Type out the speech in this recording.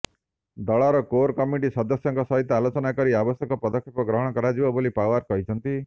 ଦଳର core committee ସଦସ୍ୟଙ୍କ ସହିତ ଆଲୋଚନା କରି ଆବଶ୍ୟକ ପଦକ୍ଷେପ ଗ୍ରହଣ କରାଯିବ ବୋଲି ପାଓ୍ୱାର କହିଛନ୍ତି